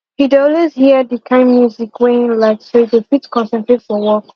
he dey always hear the kind music wey him like so he go fit concentrate for work